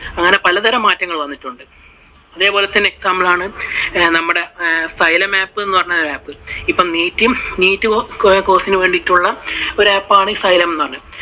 അങ്ങനെ പല തരം മാറ്റങ്ങൾ വന്നിട്ടുണ്ട്. അതേപോലെ തന്നെ example ആണ് നമ്മുടെ xylem app എന്ന് പറയുന്ന app അപ്പൊ NEET Course ന് വേണ്ടിയിട്ടുള്ള ഒരു app ആണ് ഈ xylem എന്ന് പറയുന്നത്.